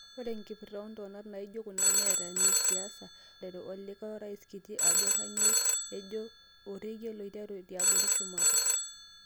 Ore enkipirta oontonat najio kuna netaa nesiasa weramatare, elikuo orais kiti ajoo kanyioo ejo "Orekia loiteru tiabori- shumata."